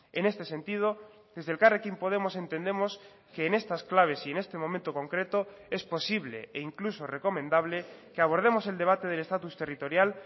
en este sentido desde elkarrekin podemos entendemos que en estas claves y en este momento concreto es posible e incluso recomendable que abordemos el debate del estatus territorial